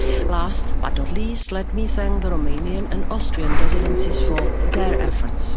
Last but not least, let me thank the Romanian and Austrian presidencies for their efforts.